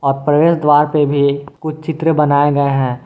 प्रवेश द्वार पे भी कुछ चित्र बनाए गए है।